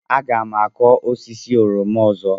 Aga m akụ osisi oroma ọzọ.